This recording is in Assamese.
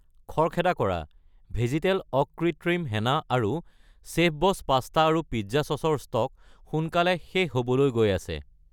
খৰখেদা কৰা, ভেজীতেল অকৃত্ৰিম হেনা আৰু চেফবছ পাস্তা আৰু পিজ্জা চচ ৰ ষ্টক সোনকালে শেষ হ'বলৈ গৈ আছে।